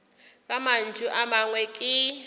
ka mantšu a mangwe ke